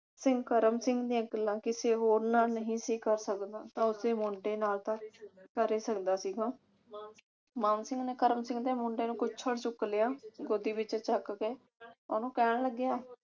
ਸਿੰਘ ਕਰਮ ਸਿੰਘ ਦੀਆਂ ਗੱਲਾਂ ਕਿਸੇ ਹੋਰ ਨਾਲ ਨਹੀਂ ਸੀ ਕਰ ਸਕਦਾ ਤਾਂ ਉਸਦੇ ਮੁੰਡੇ ਨਾਲ ਤਾਂ ਕਰ ਹੀ ਸਕਦਾ ਸੀਗਾ। ਮਾਨ ਸਿੰਘ ਨੇ ਕਰਮ ਸਿੰਘ ਦੇ ਮੁੰਡੇ ਨੂੰ ਕੁੱਛੜ ਚੁੱਕ ਲਿਆ ਗੋਦੀ ਵਿਚ ਚੱਕ ਕੇ ਉਹ ਨੂੰ ਕਹਿਣ ਲੱਗਾ